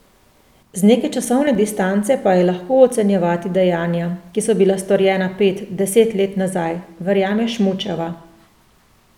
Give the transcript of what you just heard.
Z neke časovne distance pa je lahko ocenjevati dejanja, ki so bila storjena pet, deset let nazaj, verjame Šmučeva.